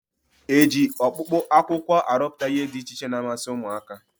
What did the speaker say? E ji ọkpụkpụ akwụkwọ arụpụta ihe dị iche iche na-amasị ụmụaka?